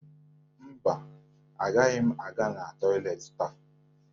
Mba, agaghị m aga na tọyịleetị taa